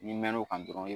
N'i mɛna o kan dɔrɔn